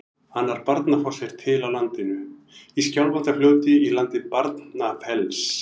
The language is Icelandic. Annar Barnafoss er til á landinu, í Skjálfandafljóti í landi Barnafells.